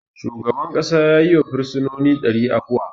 Shugaban ƙasa ya yi wa firsinoni dari afuwa.